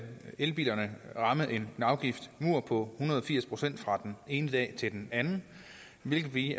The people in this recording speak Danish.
elbilerne ramme en afgiftsmur på hundrede og firs procent fra den ene dag til den anden hvilket vi